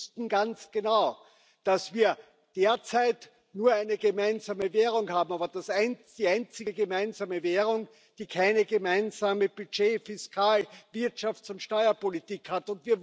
Und wir wussten ganz genau, dass wir derzeit nur eine gemeinsame Währung haben, aber die einzige gemeinsame Währung, die keine gemeinsame Budget Fiskal Wirtschafts und Steuerpolitik hat.